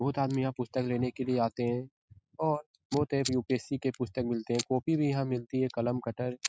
बहुत आदमी यहाँ पुस्तक लेने के लिये आते हैं और बहुत हैं यू.पी.एस.सी. की पुस्तक मिलते हैं कॉपी भी यहाँ मिलती हैं कलम कटर --